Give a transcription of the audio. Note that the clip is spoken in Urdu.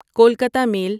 کولکاتا میل